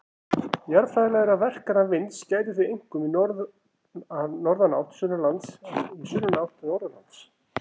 Jarðfræðilegra verkana vinds gætir því einkum í norðanátt sunnanlands en í sunnanátt norðanlands.